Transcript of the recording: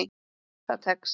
Það tekst.